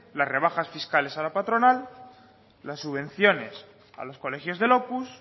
las rebajas fiscales a la patronal las subvenciones a los colegios del opus